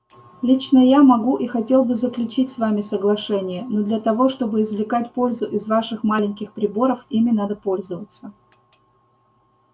лично я могу и хотел бы заключить с вами соглашение но для того чтобы извлекать пользу из ваших маленьких приборов ими надо пользоваться